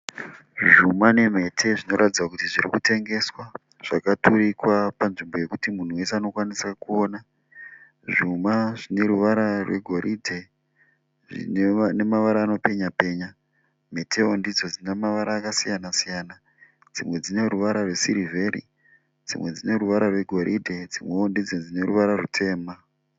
Zvuma nemhete zvirikuratidza kuti zvirikutengeswa. Zvakaturikwa panzvimbo yekuti munhu wese anokwanisa kuona. Zvuma zvine ruvara rwegoridhe nemavara anopenyapenya. Mhetewo ndidzo dzine mavara akasiyana siyana dzimwe dzine ruvara rwesirivheri, dzimwe dzine ruvara rwegoridhe dzimwewo ndidzo dzineruvara rwutema.